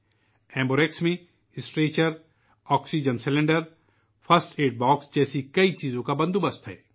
ایک ایمبو آرایکس ایک اسٹریچر، ایک oxygen cylinder, first aid box اور دیگر سازومان پر مشتمل ہوتی ہے